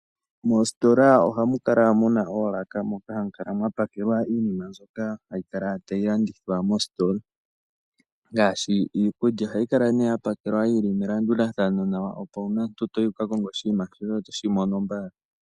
Moositola ohamu kala muna oolaka moka hamu kala mwa pakelwa iinima mbyoka hayi kala tayi landithwa moositola, ngaashi iikulya. Ohayi kala nee ya pakelwa yili melanduthano nawa opo uuna toyi wu ka konge oshinima shoye oto shi mono mbala.